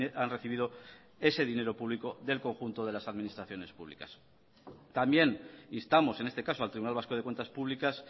han recibido ese dinero público del conjunto de las administraciones públicas también instamos en este caso al tribunal vasco de cuentas públicas